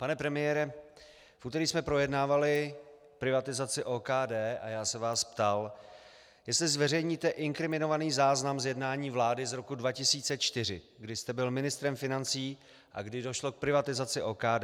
Pane premiére, v úterý jsme projednávali privatizaci OKD a já se vás ptal, jestli zveřejníte inkriminovaný záznam z jednání vlády z roku 2004, kdy jste byl ministrem financí a kdy došlo k privatizaci OKD.